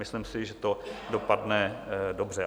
Myslím si, že to dopadne dobře.